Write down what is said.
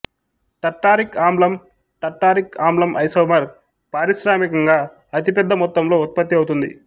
tartaric ఆమ్లం tartaric ఆమ్లం isomer పారిశ్రామికంగా అతిపెద్ద మొత్తంలో ఉత్పత్తి అవుతుంది